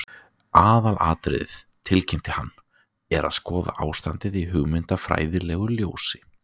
Aðalatriðið, tilkynnti hann, er að skoða ástandið í hugmyndafræðilegu ljósi